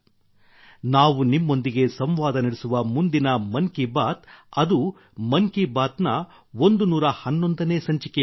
ನಾವು ನಿಮ್ಮೊಂದಿಗೆ ಸಂವಾದ ನಡೆಸುವ ಮುಂದಿನ ಮನ್ ಕಿ ಬಾತ್ ಅದು ಮನ್ ಕಿ ಬಾತ್ ನ 111 ನೇ ಸಂಚಿಕೆಯಾಗಲಿದೆ